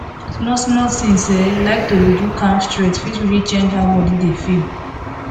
smallsmall things um like to dey do calm stretch fit really change how body dey feel